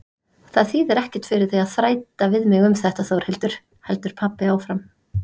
Það þýðir ekkert fyrir þig að þræta við mig um þetta Þórhildur, heldur pabbi áfram.